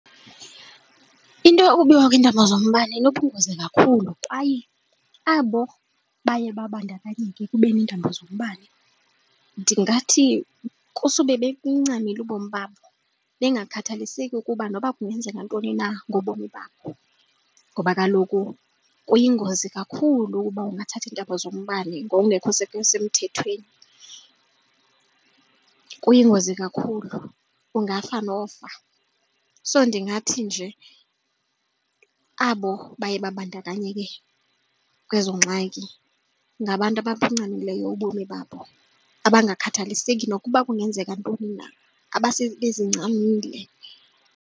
Into yokubiwa kweentambo zombane inobungozi kakhulu kwaye abo baye babandakanyeke ekubeni iintambo zombane ndingathi kusube bebuncamile ubomi babo, bangakhathaliseki ukuba noba kungenzeka nantoni na ngobomi babo ngoba kaloku kuyingozi kakhulu uba ungathatha iintambo zombane ngokungekho semthethweni, kuyingozi kakhulu ungafa nofa. So ndingathi nje abo baye babandakanyeke kwezo ngxaki ngabantu ababuncamileyo ubomi babo abangakhathaliseki nokuba kungenzeka ntoni na abasebezincamile.